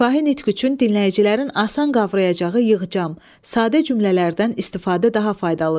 Şifahi nitq üçün dinləyicilərin asan qavrayacağı yığcam, sadə cümlələrdən istifadə daha faydalıdır.